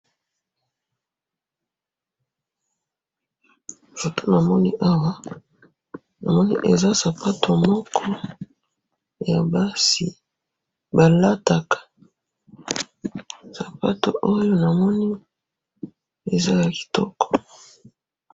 oyo namoni liboso nangayi eza sapato ya kolata ba mibali mingi balingaka kolata sapato oyo po ba pema na makolo soki olati yango ezalaka kitoko.